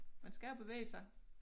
Man skal jo bevæge sig